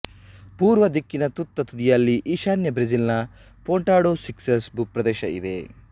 ಪೂರ್ವ ದಿಕ್ಕಿನ ತುತ್ತತುದಿಯಲ್ಲಿ ಈಶಾನ್ಯ ಬ್ರೆಜಿಲ್ ನ ಪೊಂಟಾ ಡೊ ಸಿಕ್ಸಾಸ್ ಭೂಪ್ರದೇಶ ಇದೆ